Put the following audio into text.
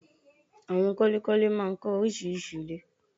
Àwon kọ́lékọ́lé máa ń kọ́ orísirísi ilé